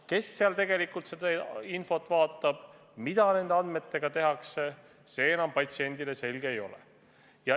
Kes seal tegelikult seda infot vaatab ja mida nende andmetega tehakse, see enam patsiendile selge ei ole.